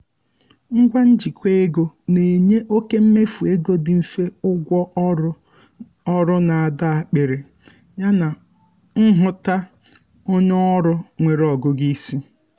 ngwa njikwa ego na-enye oke mmefu ego dị mfe ụgwọ ọrụ ọrụ na-adọ akpiri yana nhụta onye ọrụ nwere ọgụgụ isi